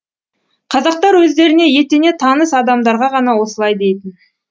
қазақтар өздеріне етене таныс адамдарға ғана осылай дейтін